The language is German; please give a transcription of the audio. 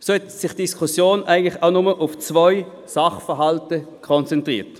So haben sich die Diskussionen auch auf nur zwei Sachverhalte konzentriert.